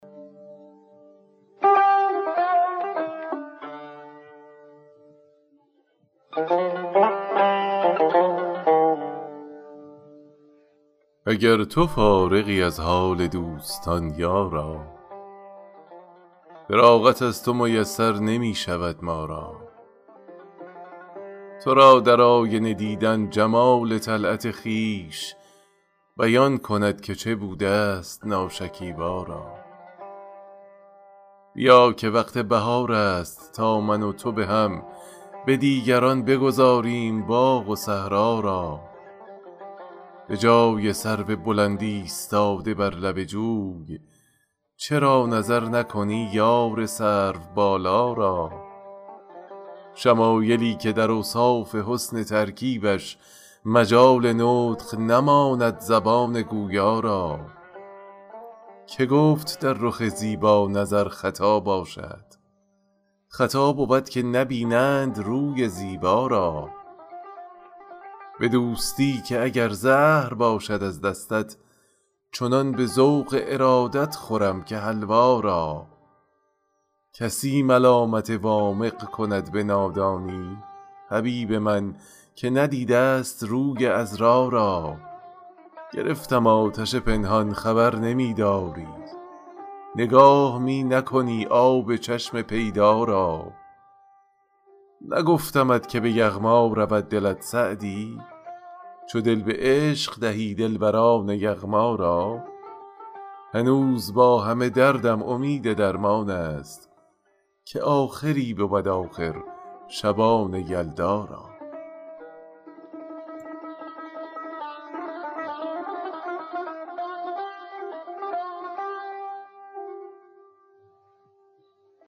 اگر تو فارغی از حال دوستان یارا فراغت از تو میسر نمی شود ما را تو را در آینه دیدن جمال طلعت خویش بیان کند که چه بوده ست ناشکیبا را بیا که وقت بهار است تا من و تو به هم به دیگران بگذاریم باغ و صحرا را به جای سرو بلند ایستاده بر لب جوی چرا نظر نکنی یار سروبالا را شمایلی که در اوصاف حسن ترکیبش مجال نطق نماند زبان گویا را که گفت در رخ زیبا نظر خطا باشد خطا بود که نبینند روی زیبا را به دوستی که اگر زهر باشد از دستت چنان به ذوق ارادت خورم که حلوا را کسی ملامت وامق کند به نادانی حبیب من که ندیده ست روی عذرا را گرفتم آتش پنهان خبر نمی داری نگاه می نکنی آب چشم پیدا را نگفتمت که به یغما رود دلت سعدی چو دل به عشق دهی دلبران یغما را هنوز با همه دردم امید درمان است که آخری بود آخر شبان یلدا را